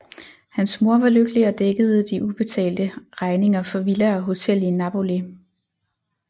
Hans mor var lykkelig og dækkede de ubetalte regninger for villa og hotel i Napoli